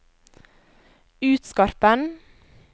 Utskarpen